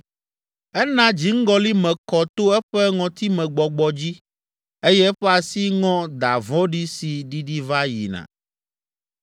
Ena dziŋgɔli me kɔ to eƒe ŋɔtimegbɔgbɔ dzi eye eƒe asi ŋɔ da vɔ̃ɖi si ɖiɖi va yina.